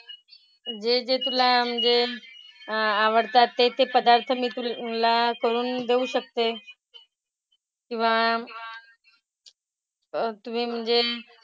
जे जे तुला म्हणजे आवडतात ते ते पदार्थ मी तुला करून देऊ शकते. किंवा, तुम्ही म्हणजे,